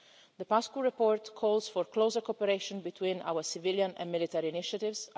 The Paşcu report calls for closer cooperation between our civilian and military initiatives.